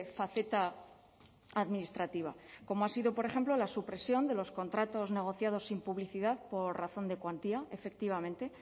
faceta administrativa como ha sido por ejemplo la supresión de los contratos negociados sin publicidad por razón de cuantía efectivamente